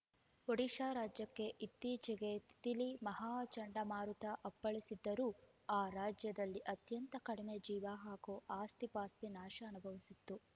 ಒಡಿಶಾ ರಾಜ್ಯಕ್ಕೆ ಇತ್ತೀಚೆಗೆ ತಿತಿಲಿ ಮಹಾ ಚಂಡಮಾರುತ ಅಪ್ಪಳಿಸಿದ್ದರೂ ಆ ರಾಜ್ಯದಲ್ಲಿ ಅತ್ಯಂತ ಕಡಿಮೆ ಜೀವ ಹಾಗೂ ಆಸ್ತಿಪಾಸ್ತಿ ನಾಶ ಅನುಭವಿಸಿತ್ತು